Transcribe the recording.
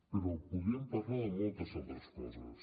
però podríem parlar de moltes altres coses